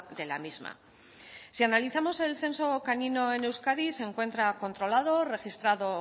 de la misma si analizamos el censo canino en euskadi se encuentra controlado registrado